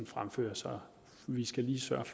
fremfører så vi skal lige sørge at